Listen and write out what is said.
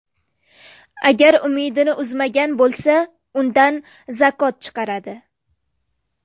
Agar umidini uzmagan bo‘lsa, undan zakot chiqaradi.